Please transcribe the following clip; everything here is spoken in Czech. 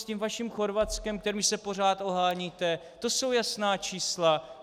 S tím vaším Chorvatskem, kterým se pořád oháníte, to jsou jasná čísla.